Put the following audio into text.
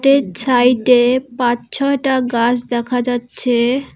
এর ছাইডে পাঁচ ছয়টা গাছ দেখা যাচ্ছে।